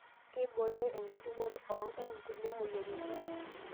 Kibooyo enkitukoto oongaik ngulie moyiaritin